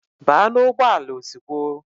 Baa n'ugbọala ozugbo!